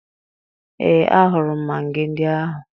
Ee, ahụrụ m magị ndị ahụ